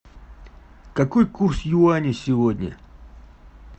какой курс юани сегодня